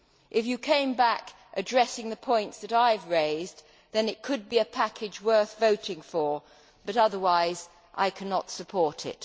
If you come back addressing the points that I have raised, then it could be a package worth voting for, but otherwise I cannot support it.